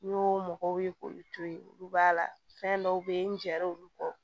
N y'o mɔgɔw ye k'olu to ye olu b'a la fɛn dɔw bɛ yen nɛrɛ olu kɔ